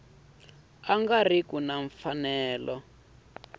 nga ri ki na mfanelo